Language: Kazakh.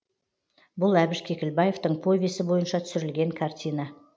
бұл әбіш кекілбаевтың повесі бойынша түсірілген картина